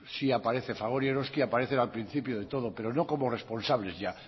sí aparece fagor y eroski aparecen al principio de todo pero no como responsables ya